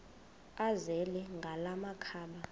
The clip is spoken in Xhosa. azele ngala makhaba